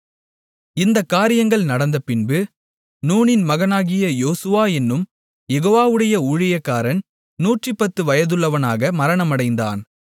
இந்தக் காரியங்கள் நடந்தபின்பு நூனின் மகனாகிய யோசுவா என்னும் யெகோவாவுடைய ஊழியக்காரன் 110 வயதுள்ளவனாக மரணமடைந்தான்